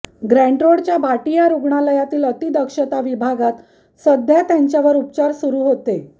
ग्रँटरोडच्या भाटिया रुग्णालयातील अतिदक्षता विभागात सध्या त्यांच्यावर उपचार सुरू होते